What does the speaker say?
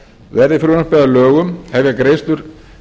verði frumvarpið að lögum hefjast greiðslur